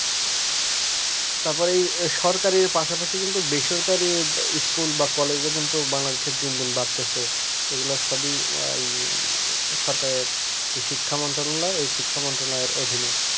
তারপরে ওই সরকারের পাশাপাশি কিন্তু বিষয়টা নিয়ে school বা college এবং বাংলাদেশের দিন দিন বাড়তেছে এগুলো সবই আয় সরকার শিক্ষা বন্ধনে ওই শিক্ষা অধীনে